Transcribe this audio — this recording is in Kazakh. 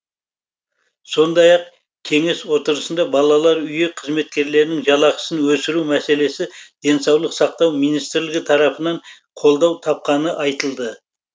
сондай ақ кеңес отырысында балалар үйі қызметкерлерінің жалақысын өсіру мәселесі денсаулық сақтау министрлігі тарапынан қолдау тапқаны айтылды